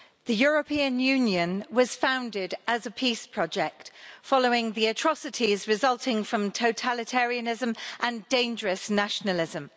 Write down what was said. Mr President, the European Union was founded as a peace project following the atrocities resulting from totalitarianism and dangerous nationalism.